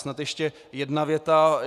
Snad ještě jedna věta.